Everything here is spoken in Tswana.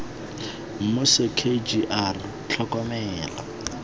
mmuso k g r tlhokomelo